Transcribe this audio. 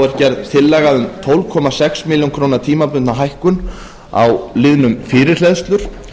er gerð tillaga um tólf komma sex ber tímabundna hækkun á liðnum fyrirhleðslur